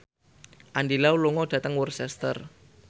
Andy Lau lunga dhateng Worcester